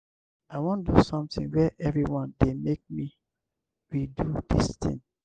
i wan do something where everyone dey make we do dis thing.